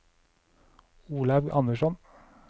Olaug Andersson